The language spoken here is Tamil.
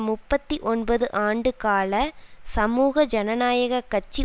முப்பத்தி ஒன்பது ஆண்டு கால சமூக ஜனநாயக கட்சி